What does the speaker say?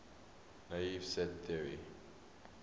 naive set theory